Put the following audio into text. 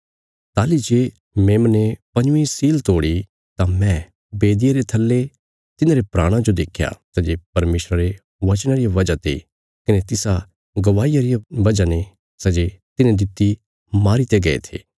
ताहली जे मेमने पंजवीं सील तोड़ी तां मैं बेदिया रे थल्ले तिन्हांरे प्राणां जो देख्या सै जे परमेशर रे वचनां रिया वजह ते कने तिसा गवाहिया रिया वजह ने सै जे तिन्हें दित्ति मारी दित्ते गये थे